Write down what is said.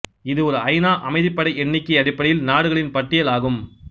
இது ஒரு ஐநா அமைதிப்படை எண்ணிக்கை அடிப்படையில் நாடுகளின் பட்டியல் ஆகும்